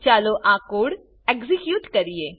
ચાલો આ code execute કરીએ